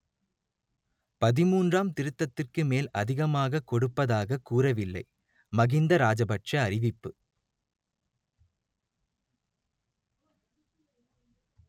பதிமூன்றாம் திருத்தத்திற்கு மேல் அதிகமாகக் கொடுப்பதாக கூறவில்லை மகிந்த ராஜபக்சே அறிவிப்பு